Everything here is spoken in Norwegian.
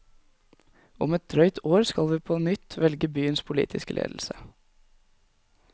Om et drøyt år skal vi på nytt velge byens politiske ledelse.